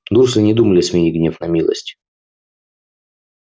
дурсли и не думали сменить гнев на милость